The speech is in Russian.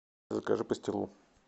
закажи пастилу